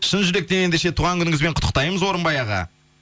шын жүректен ендеше туған күніңізбен құттықтаймыз орынбай аға